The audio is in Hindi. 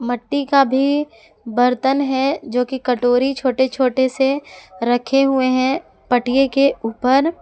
मट्टी का भी बर्तन है जोकि कटोरी छोटे छोटे से रखे हुए हैं पटिए के ऊपर।